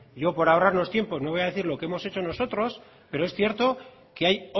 yo por ahorrarnos tiempo no voy a decir lo que hemos hecho nosotros pero es cierto que hay